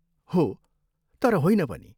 हो, तर होइन पनि!